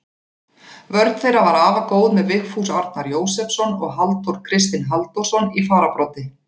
Vörn þeirra var afar góð með Vigfús Arnar Jósepsson og Halldór Kristinn Halldórsson í fararbroddi.